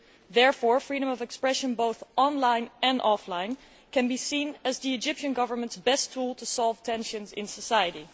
Therefore, freedom of expression, both online and offline, can be seen as the Egyptian Government's best tool to resolve tensions in society.